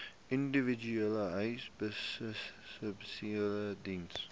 individuele behuisingsubsidies diens